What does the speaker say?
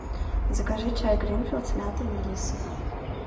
закажи чай гринфилд с мятой и мелиссой